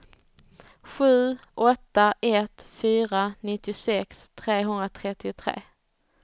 sju åtta ett fyra nittiosex trehundratrettiotre